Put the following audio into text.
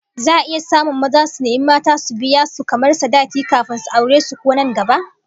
Za'a iya samun maza su nemi mata su biya su kamar sadaki kafin su aure su kuwa nan gaba?